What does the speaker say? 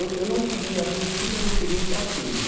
Eu não queria, a princípio eu não queria ir para a teia.